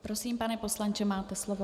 Prosím, pane poslanče, máte slovo.